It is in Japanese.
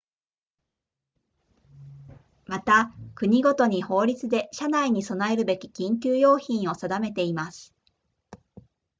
また国ごとに法律で車内に備えるべき緊急用品を定めています